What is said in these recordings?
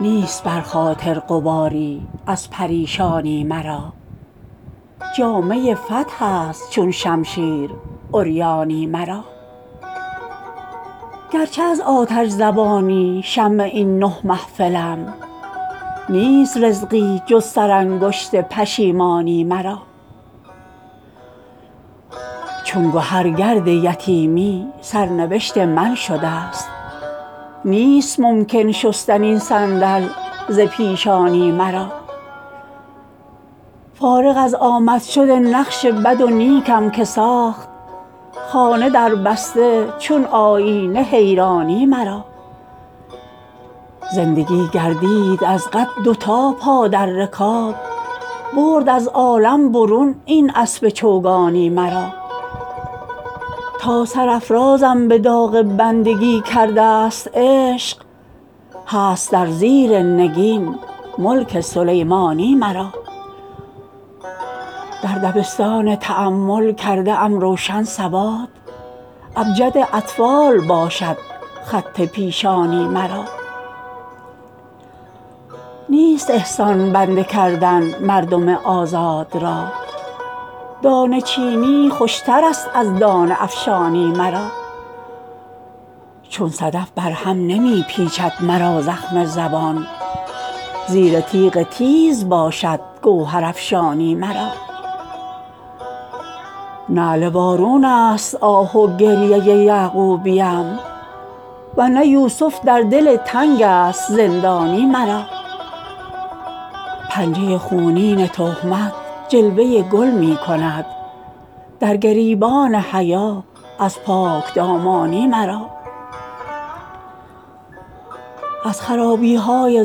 نیست بر خاطر غباری از پریشانی مرا جامه فتح است چون شمشیر عریانی مرا گرچه از آتش زبانی شمع این نه محفلم نیست رزقی جز سرانگشت پشیمانی مرا چون گهر گرد یتیمی سرنوشت من شده است نیست ممکن شستن این صندل ز پیشانی مرا فارغ از آمد شد نقش بد و نیکم که ساخت خانه دربسته چون آیینه حیرانی مرا زندگی گردید از قد دو تا پا در رکاب برد از عالم برون این اسب چوگانی مرا تا سرافرازم به داغ بندگی کرده است عشق هست در زیر نگین ملک سلیمانی مرا در دبستان تأمل کرده ام روشن سواد ابجد اطفال باشد خط پیشانی مرا نیست احسان بنده کردن مردم آزاد را دانه چینی خوشترست از دانه افشانی مرا چون صدف بر هم نمی پیچد مرا زخم زبان زیر تیغ تیز باشد گوهرافشانی مرا نعل وارون است آه و گریه یعقوبیم ورنه یوسف در دل تنگ است زندانی مرا پنجه خونین تهمت جلوه گل می کند در گریبان حیا از پاکدامانی مرا از خرابی های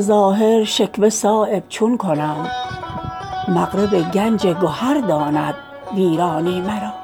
ظاهر شکوه صایب چون کنم مغرب گنج گهر گرداند ویرانی مرا